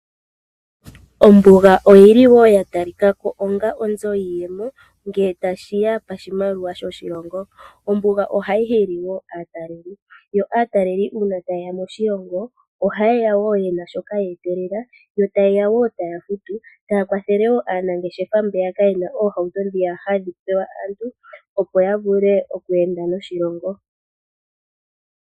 Ombuga oyili woo ya talikako onga onzo iiyemo ngele tashiya koshimaliwa sho shi longo. Ombuga ohayi hili aataleli . Aataleli uuna taye ya moshilongo ohaye ya woo yena shoka ya etelela . Yo ta yeya woo taya futu etaya kwathele woo aanangeshefa mboka yena oohauto ndhiya hadhi pewa aantu opo ya vule okweenda noshilongo.